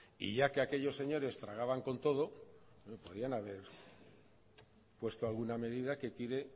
y ya que aquellos señores tragaban con todo podían haber puesto alguna medida que tire